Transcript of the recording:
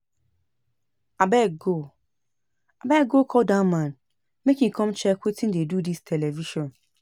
Abeg go Abeg go call dat man make he come check wetin dey do dis television